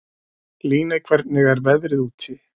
Líney, hvernig er veðrið úti?